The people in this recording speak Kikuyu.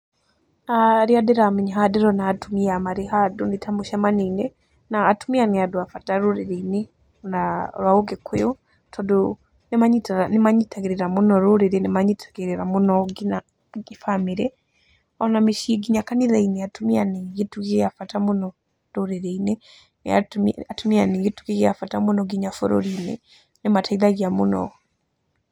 Arĩa ndĩramenya haha ndĩrona atumia marĩ handũ nĩ ta mũcemanio-inĩ, na atumia nĩ andũ a bata rũrĩrĩ-inĩ rwa ũgĩkũyũ, tondũ nĩ manyitagĩrĩra mũno rũrĩrĩ, nĩ manyitagĩrĩrĩra mũno nginya bamĩrĩ ona mĩciĩ, nginya kanitha-inĩ. Atumia nĩ kĩtugĩ gĩa bata mũno mũtũrĩre-inĩ, atumia nĩ gĩtugĩ gĩa bata mũno nginya bũrũri-inĩ nĩ mateithagia mũno.